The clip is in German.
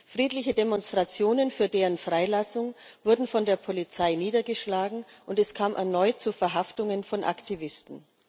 Friedliche Demonstrationen für deren Freilassung wurden von der Polizei niedergeschlagen, und es kam erneut zu Verhaftungen von Aktivisten.